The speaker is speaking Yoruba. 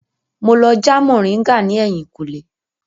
Mo lọ já moringa ní ẹ̀yìnkùlé